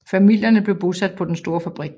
Familierne blev bosat på den store fabrik